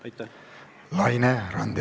Laine Randjärv, palun!